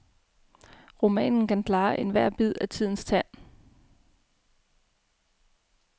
Romanen kan klare ethvert bid af tidens tand.